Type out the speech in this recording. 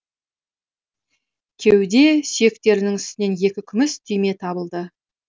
кеуде сүйектерінің үстінен екі күміс түйме табылды